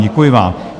Děkuji vám.